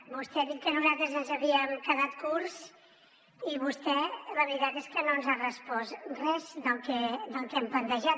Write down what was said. vostè ha dit que nosaltres ens havíem quedat curts i vostè la veritat és que no ens ha respost a res del que hem plantejat